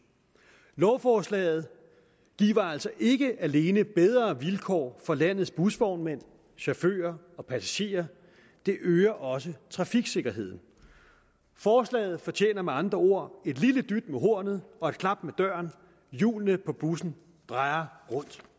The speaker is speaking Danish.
lovforslaget giver altså ikke alene bedre vilkår for landets busvognmænd chauffører og passagerer det øger også trafiksikkerheden forslaget fortjener med andre ord et lille dyt med hornet og et klap med døren hjulene på bussen drejer rundt